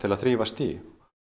að þrífast í